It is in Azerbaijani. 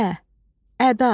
Ə ədadır.